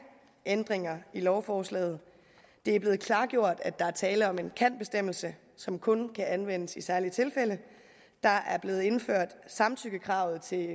ændringer i lovforslaget det er blevet klargjort at der er tale om en kan bestemmelse som kun kan anvendes i særlige tilfælde der er blevet indført samtykkekravet til